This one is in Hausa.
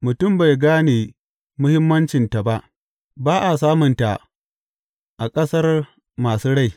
Mutum bai gane muhimmancinta ba, ba a samunta a ƙasar masu rai.